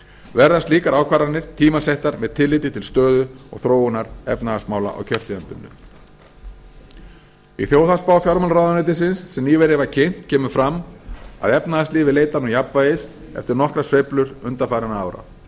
verða slíkar ákvarðanir tímasettar með tilliti til stöðu og þróunar efnahagsmála á kjörtímabilinu í þjóðhagsspá fjármálaráðuneytisins sem nýverið var kynnt kemur fram að efnahagslífið leitar nú jafnvægis eftir nokkrar sveiflur undanfarin ára